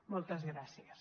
moltes gràcies